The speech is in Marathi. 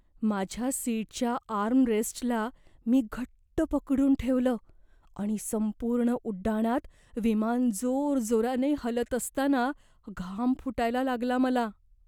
माझ्या सीटच्या आर्मरेस्टला मी घट्ट पकडून ठेवलं आणि संपूर्ण उड्डाणात विमान जोरजोराने हलत असताना घाम फुटायला लागला मला.